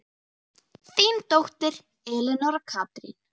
Þín dóttir, Elenóra Katrín.